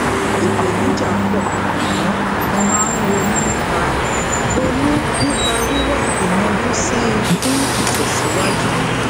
ipèníjà po àmó mo máa ń ronú nípa ronú nípa wiwa iyanjú si i fun itèsíwájú